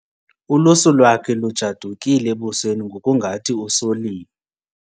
Ulusu lwakhe lujadukile ebusweni ngokungathi usoliwe.